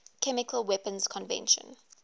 chemical weapons convention